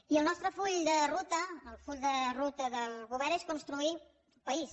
i el nostre full de ruta el full de ruta del govern és construir país